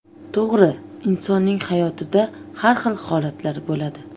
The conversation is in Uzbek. To‘g‘ri, insonning hayotida har xil holatlar bo‘ladi.